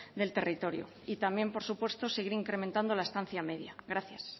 del territorio y también por supuesto seguir incrementando la estancia media gracias